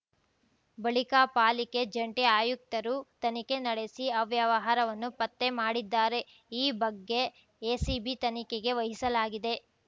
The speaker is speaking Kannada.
ಬಳಿಕ ಪಾಲಿಕೆ ಜಂಟಿ ಆಯುಕ್ತರು ತನಿಖೆ ನಡೆಸಿ ಅವ್ಯವಹಾರವನ್ನು ಪತ್ತೆ ಮಾಡಿದ್ದಾರೆ ಈ ಬಗ್ಗೆ ಎಸಿಬಿ ತನಿಖೆಗೆ ವಹಿಸಲಾಗಿದೆ